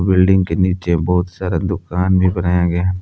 Building के नीचे बहुत सारा दुकान भी बनाया गया है।